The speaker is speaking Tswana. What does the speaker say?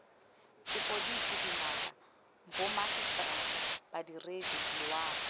sepodisi dingaka bomagiseterata badiredi loago